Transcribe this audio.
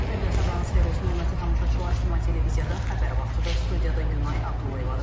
Bir daha sabahınız xeyir olsun, hörmətli tamaşaçılar, Şəma televiziyada xəbər vaxtıdır studiyada Günay Abdullayevadır.